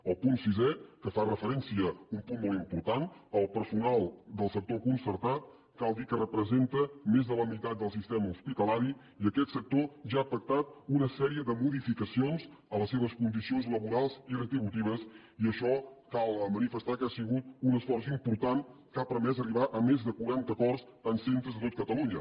en el punt sisè que fa referència a un punt molt important al personal del sector concertat cal dir que representa més de la meitat del sistema hospitalari i aquest sector ja ha pactat una sèrie de modificacions de les seves condicions laborals i retributives i això cal manifestar que ha sigut un esforç important que ha permès arribar a més de quaranta acords en centres de tot catalunya